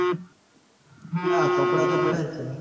ના કપડાં તો પડ્યા જ છે.